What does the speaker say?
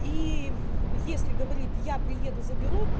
и в если говорит я приеду заберу